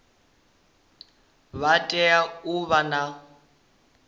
vha tea u vha na